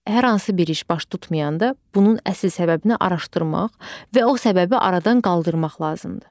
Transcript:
Hər hansı bir iş baş tutmayanda bunun əsas səbəbini araşdırmaq və o səbəbi aradan qaldırmaq lazımdır.